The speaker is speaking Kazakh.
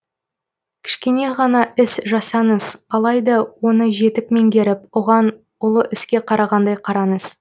кішкене ғана іс жасаңыз алайда оны жетік меңгеріп оған ұлы іске қарағандай қараңыз